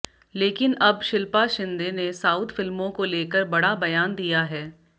लेकिन अब शिल्पा शिंदे ने साउथ फिल्मों को लेकर बड़ा बयान दिया है